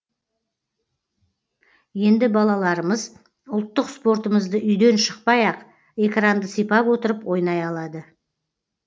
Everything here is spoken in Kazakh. енді балаларымыз ұлттық спортымызды үйден шықпай ақ экранды сипап отырып ойнай алады